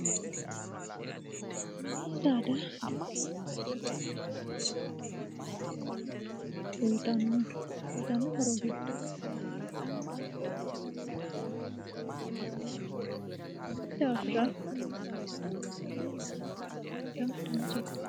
MIni saada giddosebaddi addi horo afidhino uyiitano horo giddo maala, ado buurona woleno kuri lawanoreeti konni daafira mina saada uyiitanno horo addinta danchate